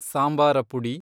ಸಾಂಬಾರ ಪುಡಿ